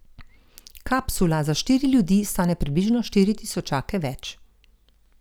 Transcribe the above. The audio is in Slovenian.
Kapsula za štiri ljudi stane približno štiri tisočake več.